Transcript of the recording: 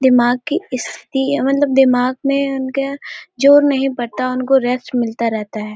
दिमाग की स्थिति या मतलब दिमाग में उनके जोर नहीं पड़ता उनको रेस्ट मिलता रहता हैं।